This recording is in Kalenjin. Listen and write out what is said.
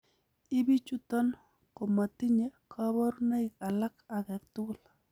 Ibichuton komotinye koborunoik alak agetugul.